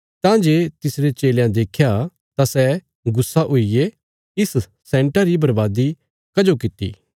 तां जे तिसरे चेलयां देख्या तां सै गुस्सा हुईगे इस सैन्टा री बर्बादी कजो किति